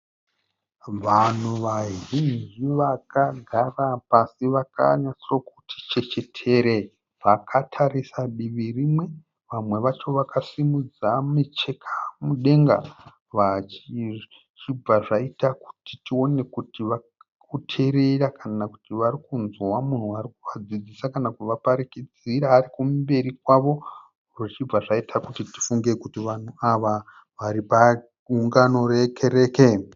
Vanhu vazhinji vakagara pasi vakanyatsokuti chechetere vakatarisa divi rimwe. Vamwe vacho vakasimudza micheka mudenga vachi zvichibva zvaita kuti tione kuti varikuteerera kana kuti varikunzwa munhu arikuvadzidzisa kana kuvaparikidzira arikumberi kwavo zvichibva zvaita kuti tifunge kuti vanhu ava varipagungano rekereke.